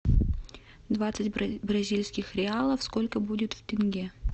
двадцать бразильских реалов сколько будет в тенге